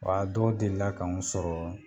Wa dɔw deli la k'anw sɔrɔ